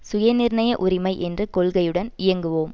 சுய நிர்ணய உரிமை என்ற கொள்கையுடன் இயங்குவோம்